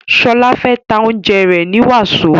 Shola fè tá oúnjẹ rẹ ní waso.